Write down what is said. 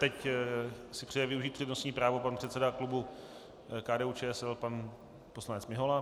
Teď si přeje využít přednostní právo pan předseda klubu KDU-ČSL pan poslanec Mihola.